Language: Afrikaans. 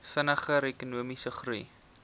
vinniger ekonomiese groei